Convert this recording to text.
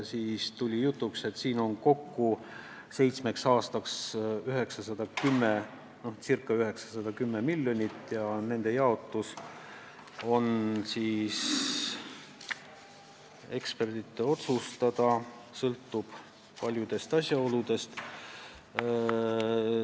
Seitsmeks aastaks on ette nähtud kokku circa 910 miljonit ja selle jaotus on ekspertide otsustada, see sõltub paljudest asjaoludest.